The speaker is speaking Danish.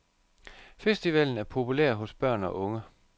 Festivalen er populær hos børn og unge.